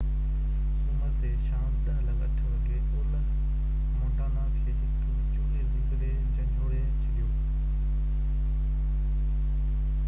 سومر تي شام 10:08 وڳي اولهه مونٽانا کي هڪ وچولي زلزلي جهنجهوڙي ڇڏيو